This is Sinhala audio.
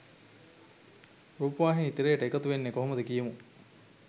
රූපවාහිනී තිරයට එකතු වෙන්නේ කොහොමද කියමු?